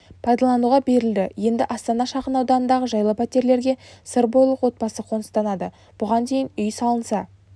пайдалануға берілді енді астана шағын ауданындағы жайлы пәтерлерге сырбойлық отбасы қоныстанады бұған дейін үй салынса